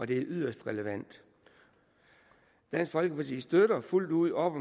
det er yderst relevant dansk folkeparti støtter fuldt ud op